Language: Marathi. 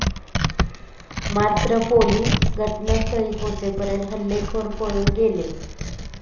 मात्र पोलिस घटनास्थळी पोहचेपर्यंत हल्लेखोर पळून गेले.